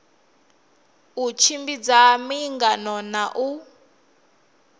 u tshimbidza miangano na u